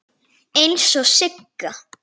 Eins og Siggi.